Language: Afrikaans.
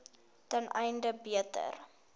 ten einde beter